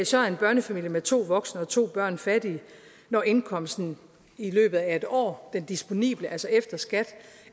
så er en børnefamilie med to voksne og to børn fattige når indkomsten i løbet af et år den disponible efter skat